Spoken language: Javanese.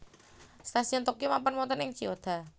Stasiun Tokyo mapan wonten ing Chiyoda